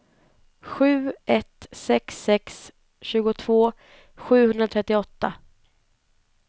sju ett sex sex tjugotvå sjuhundratrettioåtta